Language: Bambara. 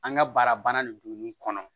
An ka baara banna nin don nun kɔnɔ